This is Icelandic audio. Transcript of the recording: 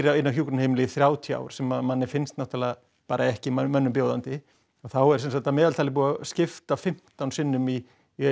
inni á hjúkrunarheimili í þrjátíu ár sem að manni finnst náttúrulega bara ekki mönnum mönnum bjóðandi að þá er semsagt að meðaltali búið að skipta fimmtán sinnum í